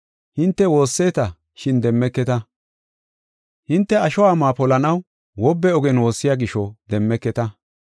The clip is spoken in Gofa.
Hinte woosseta, shin demmeketa. Hinte asho amuwa polanaw wobbe ogen woossiya gisho demmeketa.